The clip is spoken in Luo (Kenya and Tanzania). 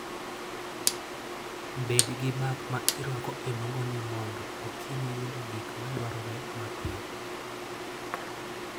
Bed gi bag ma irwako e nungoni mondo okonyi yudo gik madwarore mapiyo.